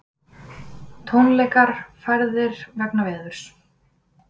Tónleikar færðir vegna veðurs